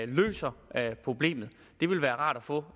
løser problemet det vil være rart at få